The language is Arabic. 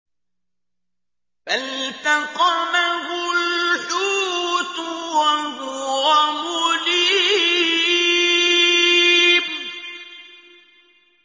فَالْتَقَمَهُ الْحُوتُ وَهُوَ مُلِيمٌ